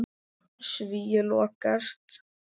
Svíi lokast.